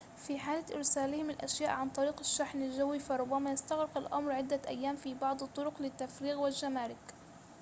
في حالة إرسالهم الأشياء عن طريق الشحن الجوي فربما يستغرق الأمر عدة أيام في بعض الطرق للتفريغ والجمارك